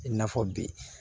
I n'a fɔ bi